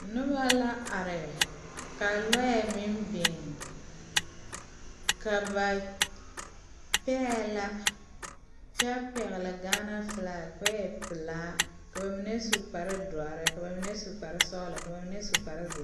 Noba la are ka lɔɛ meŋ biŋ ka ba pɛɛ la kyɛ pɛgle Gaana filagi ka o e pelaa ka ba mine su kparedɔre ka ba mine su kparesɔglɔ ka ba mine su kparezeere.